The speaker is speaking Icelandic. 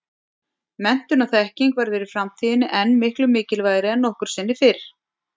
Menntun og þekking verður í framtíðinni enn miklu mikilvægari en nokkru sinni fyrr.